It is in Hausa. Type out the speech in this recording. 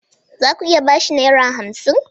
Za ku iya ba shi Naira hamsin?